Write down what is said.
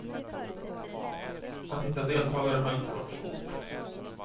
Att hitta deltagare har inte varit svårt.